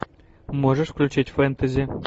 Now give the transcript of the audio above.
можешь включить фэнтези